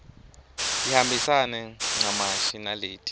tihambisane ncamashi naleti